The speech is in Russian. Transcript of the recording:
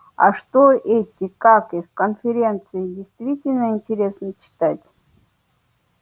а что эти как их конференции действительно интересно читать